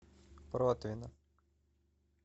протвино